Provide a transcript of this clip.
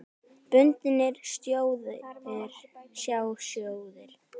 Bundnir sjóðir, sjá sjóðir